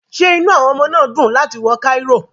Ṣé inú àwọn ọmọ náà dùn láti wà ní Cairo?